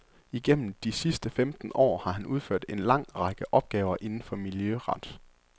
Igennem de sidste femten år har han udført en lang række opgaver inden for miljøret.